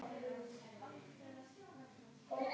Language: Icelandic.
Karen Kjartansdóttir: Hvernig líkar ykkur?